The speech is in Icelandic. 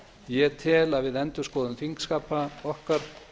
ég tel að við endurskoðun þingskapa okkar